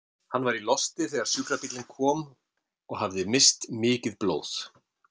Hann var í losti þegar sjúkrabíllinn kom og hafði misst mikið blóð.